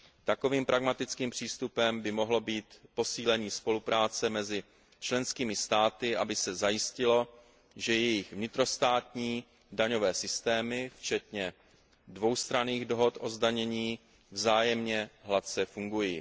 Takovým pragmatickým přístupem by mohlo být posílení spolupráce mezi členskými státy, aby se zajistilo, že jejich vnitrostátní daňové systémy včetně dvoustranných dohod o zdanění vzájemně hladce fungují.